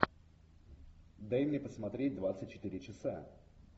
дай мне посмотреть двадцать четыре часа